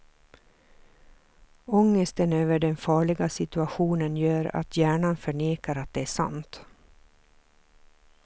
Ångesten över den farliga situationen gör att hjärnan förnekar att det är sant.